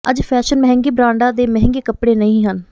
ਅੱਜ ਫੈਸ਼ਨ ਮਹਿੰਗੇ ਬ੍ਰਾਂਡਾਂ ਦੇ ਮਹਿੰਗੇ ਕੱਪੜੇ ਨਹੀਂ ਹਨ